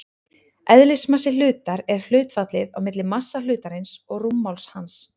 Eðlismassi hlutar er hlutfallið á milli massa hlutarins og rúmmáls hans.